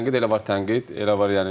Tənqid elə var tənqid.